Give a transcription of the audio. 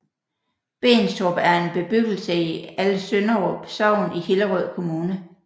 Benstrup er en bebyggelse i Alsønderup Sogn i Hillerød Kommune